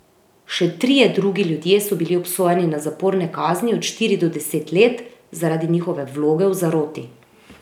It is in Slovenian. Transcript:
Še trije drugi ljudje so bili obsojeni na zaporne kazni od štiri do deset let zaradi njihove vloge v zaroti.